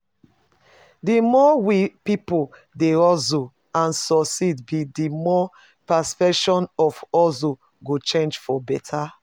Di more we peolpe dey hustle and succeed be di more perception of hustle go change for beta.